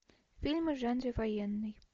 фильмы в жанре военный